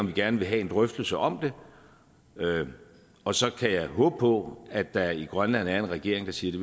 vi gerne vil have en drøftelse om det og så kan jeg håbe på at der i grønland er en regering der siger